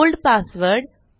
old password